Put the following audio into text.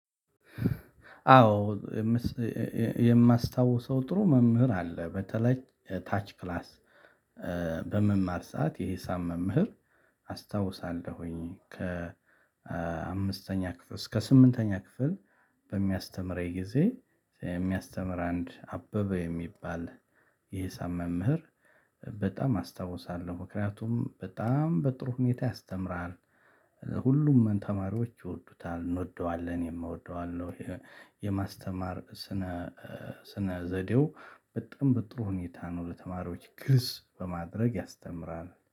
አዎ ይም የማስታውሰው ጥሩ መምህር አለ። በተለይ እ ታች ክላስ እ በምማር ሰዓት የሂሳብ መምህር አስታውሳለሁኝ። ከ እ አምስተኛ ክፍል እስከ ስምንተኛ ክፍል። በሚያስተምረኝ ጊዜ እ የሚያስተምር አንድ አበበ የሚባል የሂሳብ መምህር በጣም አስታውሳለሁ። ምክንያቱም በጣም በጥሩ ሁኔታ ያስተምራል እ ሁሉም ተማሪዎች ይወዱታል እንወደዋለን እኔም እወደዋለው። የማስተማር እ ስነ እ ስነ ዘዴው በጣም በጥሩ ሁኔታ ነው ለተማሪዎች ግልጽ በማድረግ ያስተምራል